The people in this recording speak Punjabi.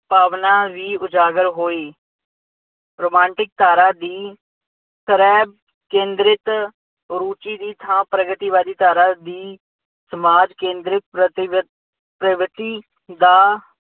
ਭਾਵਨਾ ਵੀ ਉਜਾਗਰ ਹੋਈ। ਰੁਮਾਂਟਿਕ ਧਾਰਾ ਦੀ ਤਰ੍ਹਾਂ ਕੇਂਦਰਿਤ ਰੁਚੀ ਦੀ ਥਾਂ ਪ੍ਰਗਤੀਵਾਦੀ ਧਾਰਾ ਦੀ ਸਮਾਜ ਕੇਂਦਰ ਪ੍ਰਤੀਬੱਧ ਪ੍ਰਗਤੀ ਦਾ